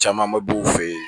Camanba b'u fɛ yen